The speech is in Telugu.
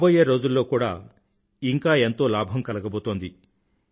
రాబోయే రోజుల్లో ఇంకా ఎంతో లాభం కలగబోతోంది